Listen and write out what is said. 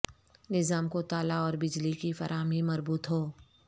نظام کو تالا اور بجلی کی فراہمی مربوط ہو